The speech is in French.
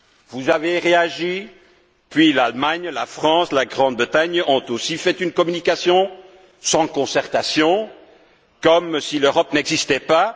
Vous avez réagi, puis l'Allemagne, la France, la Grande Bretagne ont aussi fait une communication sans concertation, comme si l'Europe n'existait pas.